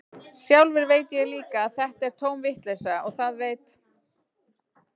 Sjálfur veit ég líka að þetta er tóm vitleysa, og það veit